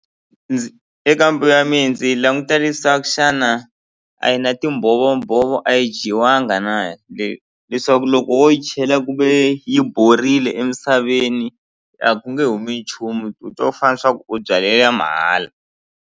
eka mbewu ya mina ndzi languta leswaku xana a yi na timbhovombhovo a yi dyiwanga na leswaku loko wo yi chela kuve yi borile emisaveni a ku nge humi nchumu ku to fanaa swa ku u byale ya mahala.